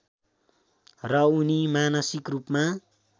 र उनी मानसिक रूपमा